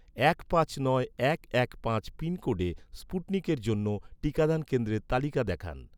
এক পাঁচ নয় এক এক পাঁচ পিনকোডে, স্পুটনিকের জন্য, টিকাদান কেন্দ্রের তালিকা দেখান